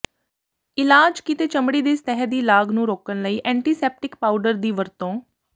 ਇਲਾਜ ਕੀਤੇ ਚਮੜੀ ਦੇ ਸਤਹ ਦੀ ਲਾਗ ਨੂੰ ਰੋਕਣ ਲਈ ਐਂਟੀਸੈਪਟਿਕ ਪਾਊਡਰ ਦੀ ਵਰਤੋਂ